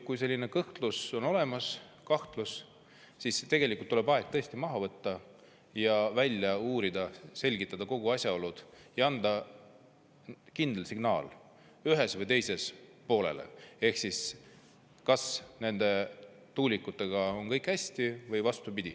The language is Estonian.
Kui selline kahtlus on olemas, siis tuleb aeg maha võtta ja kõik välja uurida, selgitada kõik asjaolud ja anda kindel signaal ühes või teises, kas nende tuulikutega on kõik hästi või vastupidi.